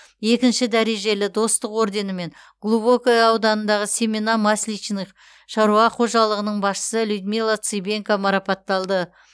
екінші дәрежелі достық орденімен глубокое ауданындағы семена масличных шаруа қожалығының басшысы людмила цыбенко марапатталды